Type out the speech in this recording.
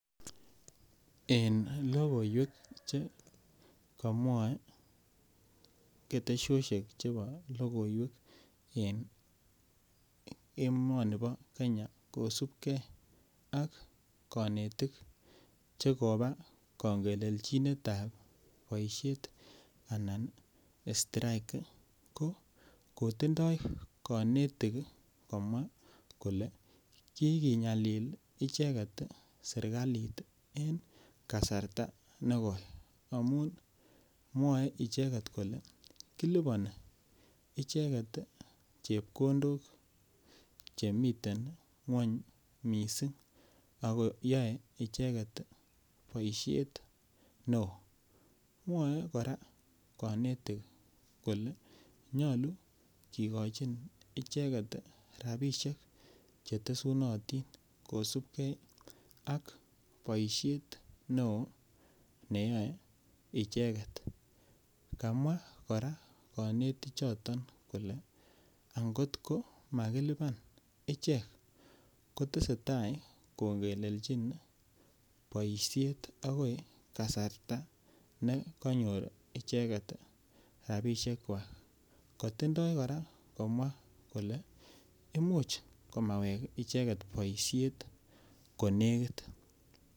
En lokoiwek chekomwae ketesosiek chebo lokoiwek en emoni bo kenya kosipke ak konetik chekopa kong'elelchinetab boisiet anan strike ii ko kotindoo konetik komwa kouni kole kikinyalil icheket serikalit en kasarta nekoi amun mwae icheket kole kilipani chepkondok chemiten ng'wong missing akoyoe icheket ii boisiet neo mwae kora konetik kole yoche kikochi icheket ii rapinik chetesunotin kosipke ak boisiet neo neyoe icheket, kamwa kora konetichoton kole ang'ot komakilipan ichek kotese tai kongelelchin boisiet akoi kasarta ne konyor icheket rapisiekwak, kotindoo kora komwa kole imuch komawek ichekt boisiet konekit.